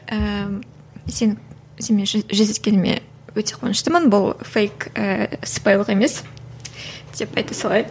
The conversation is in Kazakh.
ііі сен сенімен жүздескеніме өте қуаныштымын бұл фейк ііі сыпайылық емес деп айта салайын